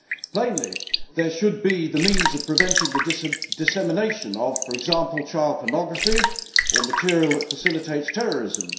Plainly there should be the means of preventing the dissemination of, for example, child pornography, or material that facilitates terrorism.